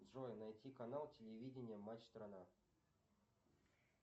джой найти канал телевидения матч страна